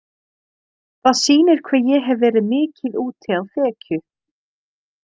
Það sýnir hve ég hef verið mikið úti á þekju.